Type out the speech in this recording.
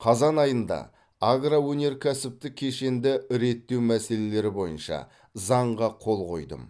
қазан айында агроөнеркәсіптік кешенді реттеу мәселелері бойынша заңға қол қойдым